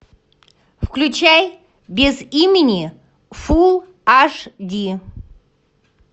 включай без имени фулл аш ди